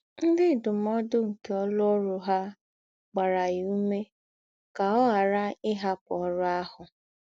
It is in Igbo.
Ńdị ndúmòdù nke ǒlụ́ọ̀rụ̀ hà gbàrà yà ǔmé kà ọ̀ ghàrà íhapụ́ ọ̀rụ̀ àhụ̀.